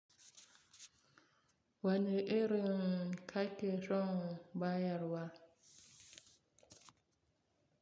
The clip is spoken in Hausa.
Wani irin kaki son ba yarwa.